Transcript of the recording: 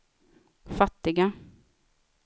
fattiga